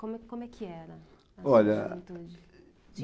Como como é que era, olha, a sua juventude?